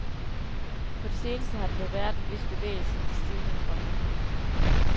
På det seneste har der dog været en vis bevægelse i de stivnede fronter.